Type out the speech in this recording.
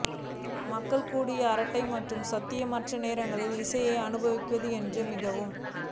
மக்கள் கூட அரட்டை மற்றும் சாத்தியமற்றது நேரங்களில் இசையை அனுபவிக்க என்று மிகவும்